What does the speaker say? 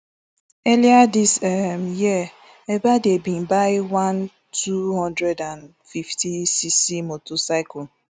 earlier dis um year ebaide bin buy one two hundred and fiftycc motorcycle